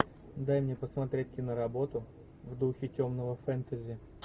дай мне посмотреть киноработу в духе темного фентези